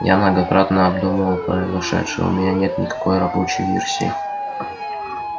я многократно обдумывал произошедшее у меня нет никакой рабочей версии